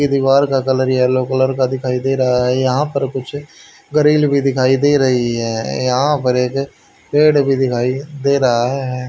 इस दीवार का कलर येलो कलर का दिखाई दे रहा है यहां पर कुछ गरील भी दिखाई दे रही हैं यहां पर एक पेड़ भी दिखाई दे रहा है।